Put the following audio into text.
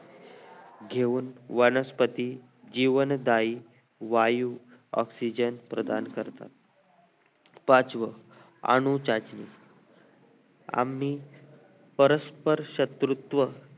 घेऊन वनस्पती जीवनदायी वायू oxygen प्रदान करतात पाचवं अणुचाचणी आम्ही परस्पर शत्रुत्व